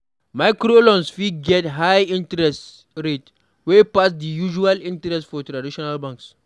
Microloans fit get high interest rate wey pass di usual interest for traditional banks